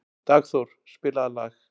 Dagþór, spilaðu lag.